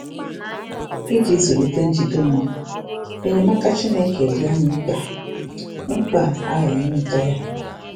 Iji zụlite njide onwe, enyemaka Chineke dị anyị mkpa, a mkpa, a ghaghị ịnweta ya.